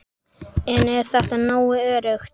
En er það nógu öruggt?